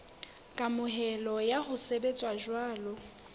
kamohelo ya ho sebetsa jwalo